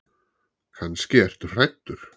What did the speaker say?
Kannski ertu hræddur.